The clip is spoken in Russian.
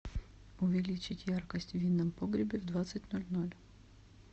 увеличить яркость в винном погребе в двадцать ноль ноль